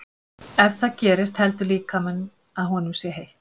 Ef það gerist heldur líkaminn að honum sé heitt.